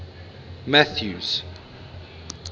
mathews